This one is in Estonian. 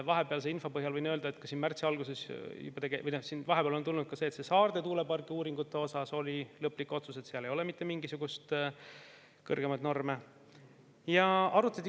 Vahepealse info põhjal võin öelda, et märtsi alguses tuli või vahepeal on tulnud Saarde tuulepargi uuringute põhjal lõplik otsus, et seal ei ole mitte mingisuguseid kõrgemaid.